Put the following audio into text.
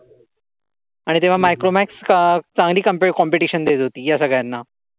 आणि त्यावेळी मायक्रोमॅक्स चांगली कम्पे कोम्पिटेसन देत होती या सगळ्यांना.